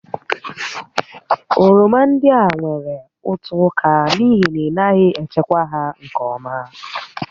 Oroma ndị a nwèrè ụtọ ụka n'ihi na ị naghị echekwa ya nke ọma